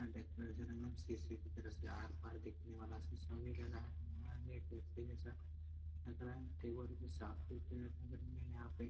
यहाँ डेकोरेशन एकदम शीशे की तरह सजा है। आर पार देखने वाला शीशा भी लगा है और यहाँ पे लग रहा है। टेबल भी साफ सुथरे रखे हुए हैं यहाँ पे।